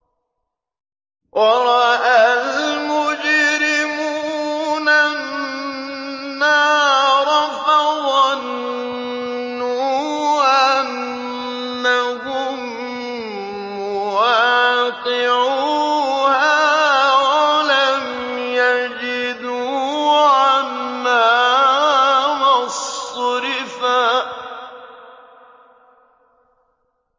وَرَأَى الْمُجْرِمُونَ النَّارَ فَظَنُّوا أَنَّهُم مُّوَاقِعُوهَا وَلَمْ يَجِدُوا عَنْهَا مَصْرِفًا